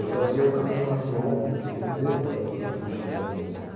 Eu fazia o caminho mais longo, porque não deu para para fugir da música.